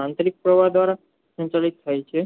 અંતિરિક્સ આધારે સંતુલિત થાય છે